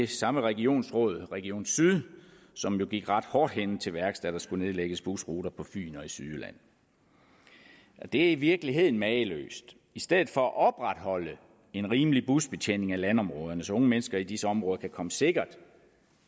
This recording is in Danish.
samme regionsråd region syd som jo gik ret hårdhændet til værks da der skulle nedlægges busruter på fyn og i sydjylland det er i virkeligheden mageløst i stedet for at opretholde en rimelig busbetjening af landområderne så unge mennesker i disse områder kan komme sikkert